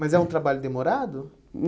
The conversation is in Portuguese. Mas é um trabalho demorado? Hum